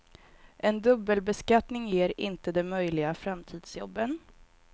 En dubbelbeskattning ger inte de möjliga framtidsjobben.